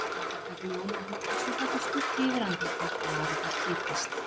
Andartak ljómar hún, en svo fellur skuggi yfir andlitið, varirnar kiprast.